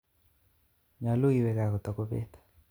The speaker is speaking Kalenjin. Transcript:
Nyalu iwe kaa kotakopeet.